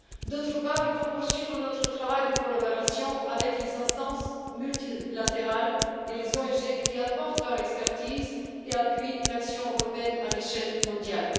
D'autre part, il faut poursuivre notre travail de collaboration avec les instances multilatérales et les ONG qui apportent leur expertise et appuient l'action européenne à l'échelle mondiale.